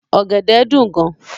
Ògèdè dún gán